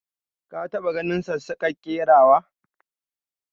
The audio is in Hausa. ka ta ba ganin sassaka kerawa?